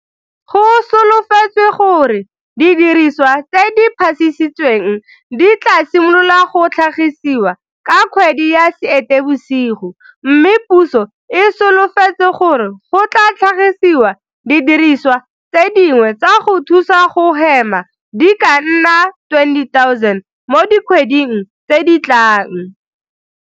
Go solofetswe gore didiriswa tse di phasisitsweng di tla simolola go tlhagisiwa ka kgwedi ya Seetebosigo mme puso e solofetse gore go tla tlhagisiwa didirisiwa tse dingwe tsa go thusa go hema di ka nna 20 000 mo dikgweding tse di tlang.